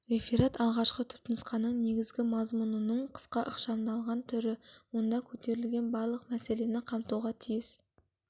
реферат алғашқы түпнұсқаның негізгі мазмұнының қысқа ықшамдалған түрі онда көтерілген барлық мәселені қамтуға тиіс